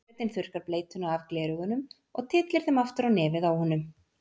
Forsetinn þurrkar bleytuna af gleraugunum og tyllir þeim aftur á nefið á honum.